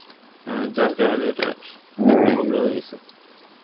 হ্যাঁ যার কারনে এটা problem হইসে.